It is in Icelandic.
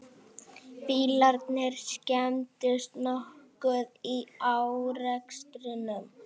Bílarnir skemmdust nokkuð í árekstrinum